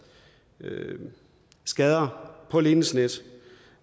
skader på ledningsnet